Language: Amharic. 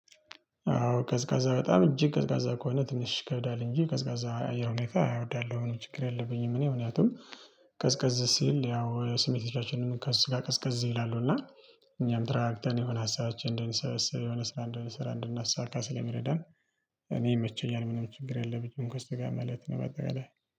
አዎ ቀዝቃዛ በጣም እጅግ ቀዝቃዛ ከሆነ ትንሽ ይከብዳል እንጂ ቀዝቃዛ አየር ሁኔታ እወዳለሁ ችግር የለብኝም። እኔ ምክንያቱም ቀዝቃዝ ሲል ያው ስሜት ህዋሳቶቻችን ከስቃቀ ቀዝቀዝ ይላሉ እና እኛም ተረጋግተን የሆነ ሀሳባችንን እድንሰበስብ የሆነ ስራ እንደምንሰራ እንደምናሳካ ስለሚረዳን። እኔ ይመቸኛል ምንም ችግር የለብኝም እኮ እስቲጋር ማለት ነው። በአጠቃላይ